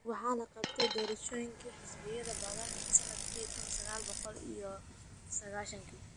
Waxa la qabtay doorashooyinkii xisbiyada badan sannadkii kun iyo sagaal boqol iyo laba iyo sagaashankii.